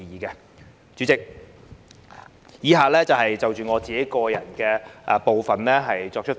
代理主席，以下部分我會就個人意見發言。